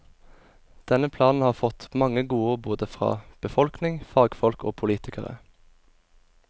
Denne planen har fått mange godord både fra befolkning, fagfolk og politikere.